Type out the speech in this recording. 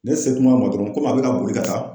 Ne se kuma ma dɔrɔn komi a bɛ ka boli ka taa.